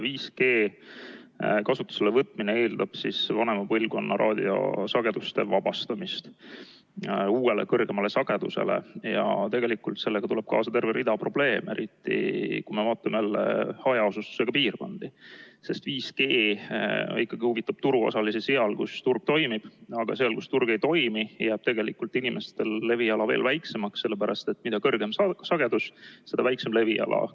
5G kasutusele võtmine eeldab vanema põlvkonna raadiosagedustest vabastamist uue, kõrgema sageduse jaoks ja tegelikult sellega tuleb kaasa terve rida probleeme, eriti kui me vaatame jälle hajaasustusega piirkondi, sest 5G huvitab turuosalisi seal, kus turg toimib, aga seal, kus turg ei toimi, jääb tegelikult inimestel leviala veel väiksemaks, sellepärast et mida kõrgem sagedus, seda väiksem leviala.